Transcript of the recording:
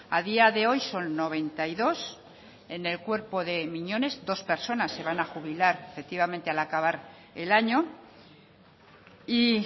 a día de hoy son noventa y dos en el cuerpo de miñones dos personas se van a jubilar efectivamente al acabar el año y